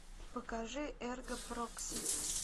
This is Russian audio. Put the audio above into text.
покажи эрго прокси